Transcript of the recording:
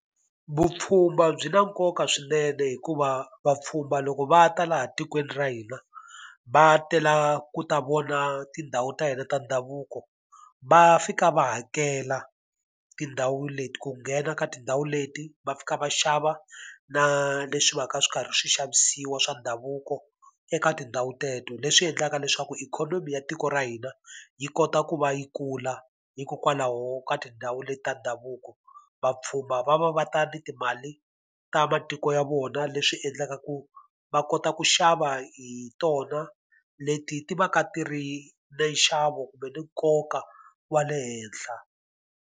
Vupfhumba byi na nkoka swinene hikuva vapfhumba loko va ta laha tikweni ra hina, va tela ku ta vona tindhawu ta hina ta ndhavuko, va fika va hakela tindhawu leti ku nghena ka tindhawu leti va fika va xava na leswi va ka swi karhi swi xavisiwa swa ndhavuko eka tindhawu teto. Leswi endlaka leswaku ikhonomi ya tiko ra hina yi kota ku va yi kula hikokwalaho ka tindhawu leti ta ndhavuko. Vapfhumba va va va ta ni timali ta matiko ya vona leswi endlaka ku va kota ku xava hi tona leti ti va ka ti ri na nxavo kumbe ni nkoka wa le henhla.